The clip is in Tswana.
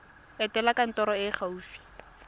etela kantoro e e gaufi